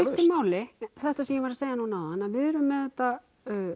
máli þetta sem ég var að segja núna áðan að við erum auðvitað